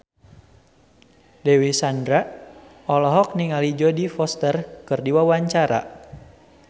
Dewi Sandra olohok ningali Jodie Foster keur diwawancara